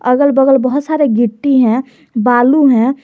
अगल बगल बहोत सारे गिट्टी है बालू है।